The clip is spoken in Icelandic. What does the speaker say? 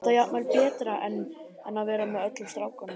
Þetta var jafnvel betra en að vera með öllum strákunum.